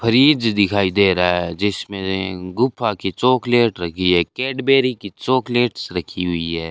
Fridge दिखाई दे रहा है जिसमें गुफा की चॉकलेट रखी है कैडबेरी की चॉकलेट्स रखी हुई है।